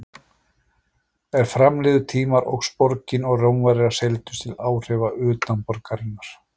Er fram liðu tímar óx borgin og Rómverjar seildust til áhrifa utan borgarinnar.